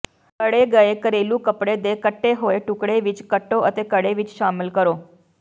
ਘੜੇ ਗਏ ਘਰੇਲੂ ਕਪੜੇ ਦੇ ਕੱਟੇ ਹੋਏ ਟੁਕੜੇ ਵਿੱਚ ਕੱਟੋ ਅਤੇ ਘੜੇ ਵਿੱਚ ਸ਼ਾਮਲ ਕਰੋ